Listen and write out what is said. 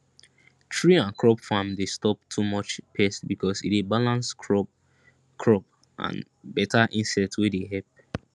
tree and crop farm dey stop too much pest because e dey balance crop crop and better insect wey dey help